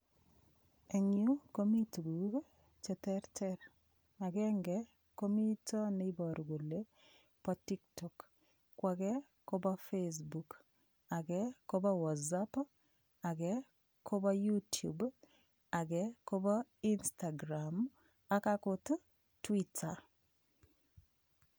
Eng' yu komi tukuk cheterter agenge komito neiboru kole bo tiktok ko age kobo Facebook age kobo WhatsApp age kobo YouTube age kobo Instagram ak akot twitter